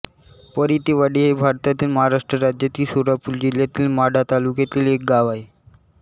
परितेवाडी हे भारतातील महाराष्ट्र राज्यातील सोलापूर जिल्ह्यातील माढा तालुक्यातील एक गाव आहे